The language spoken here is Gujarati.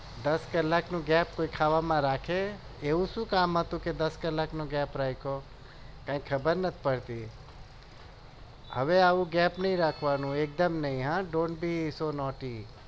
દસ કલાકનો gap કોઈ ખાવામાં રાખે એવું શું કામ હતું કે દસ કલાકનો gap રાખ્યો કઈ ખબર નહિ પડતી હવે આવું gap નહિ રાખવાનો એકદમ નહિ હ don't be so naughty